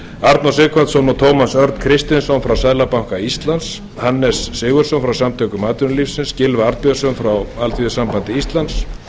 arnór sighvatsson og tómas örn kristinsson frá seðlabanka íslands hannes g sigurðsson frá samtökum atvinnulífsins gylfa arnbjörnsson frá alþýðusambandi íslands